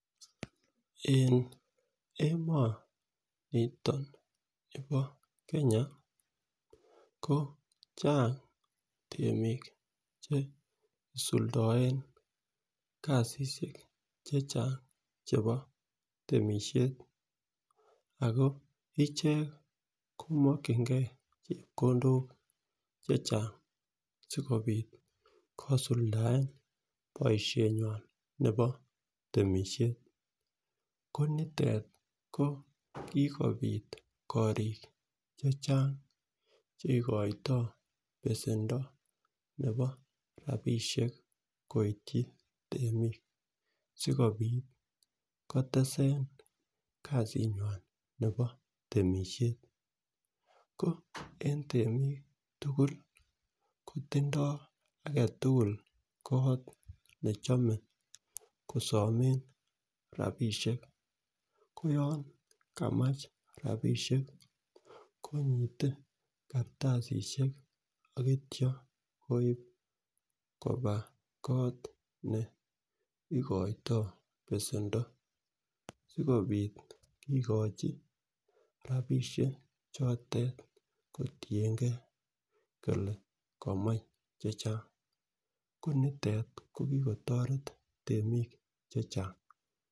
En emoniton nibo Kenya ko chang temik cheisuldoen kasishek chechang chebo temishet ako ichek kimokinigee chepkondok chechang sikopit kisuldaen boishonywan nebo temishet ko nitet ko kokopit korik chechang cheikoito besendo nebo rabishek koityi temik sikopit kotesen kasinywan nebo temishet ko en temik tukul kotindo agetutuk kot nechome kosomen rabishek, ko yon kaamch rabishek konyite kartasisiek ak ityo koib koba kot neigoito besendo sikopit kikochi rabishek chotet kotiyengee kole komoi chetyan ko nitet ko kikotoret temik chechang.